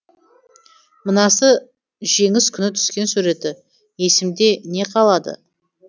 мынасы жеңіс күні түскен суреті есімде не қалады